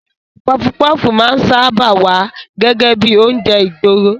Pọfupọ́fù máa ń sáábà wá gẹ́gẹ́ bíi oúnjẹ ìgboro.